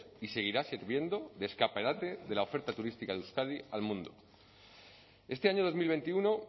y seguirá sirviendo de escaparate de la oferta turística de euskadi al mundo este año dos mil veintiuno